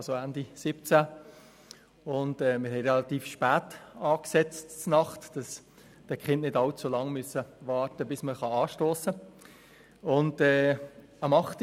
Das Nachtessen war relativ spät angesetzt, damit die Kinder nicht allzu lange warten mussten, bis man anstossen konnte.